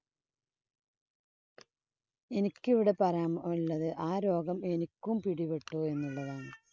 എനിക്ക് ഇവിടെ പറയാന്‍ ഒള്ളത് ആ രോഗം എനിക്കും പിടിപെട്ടു എന്നുള്ളതാണ്.